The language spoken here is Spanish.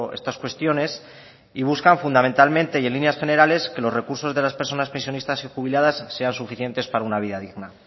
estas cuestiones y buscan fundamentalmente y en líneas generales que los recursos de las personas pensionistas y jubiladas sean suficientes para una vida digna